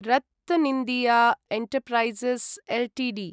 RattanIndia enterprises Ltd